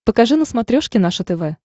покажи на смотрешке наше тв